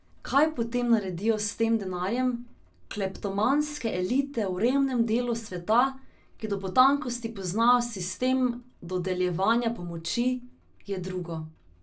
Kaj potem naredijo s tem denarjem kleptomanske elite v revnem delu sveta, ki do potankosti poznajo sistem dodeljevanja pomoči, je drugo.